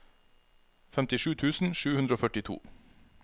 femtisju tusen sju hundre og førtito